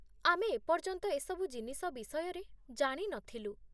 ଆମେ ଏପର୍ଯ୍ୟନ୍ତ ଏସବୁ ଜିନିଷ ବିଷୟରେ ଜାଣି ନଥିଲୁ